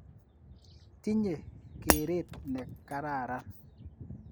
Tinye keret ne kararan .